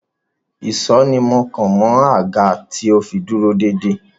Ìsó ni mọ́ kàn mọ́ àga to fi dúró dédé.